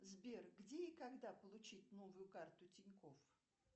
сбер где и когда получить новую карту тинькофф